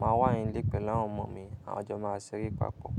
màá wà nilé pẹ̀lú àwọn ọmọ mi, à wa jọ́ máa ṣeré papọ̀.